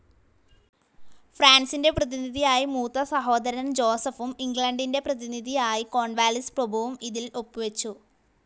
ഫ്രാൻസിന്റെ പ്രതിനിധിയായി മൂത്തസഹോദരൻ ജോസെഫും ഇംഗ്ലണ്ടിന്റെ പ്രതിനിധിയായി കോൺവാലിസ് പ്രഭുവും ഇതിൽ ഒപ്പു വെച്ചു,